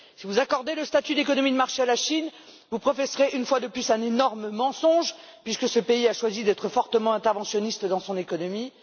Si vous accordez le statut d'économie de marché à la Chine, vous professerez une fois de plus un énorme mensonge puisque ce pays a choisi d'être fortement interventionniste dans son économie.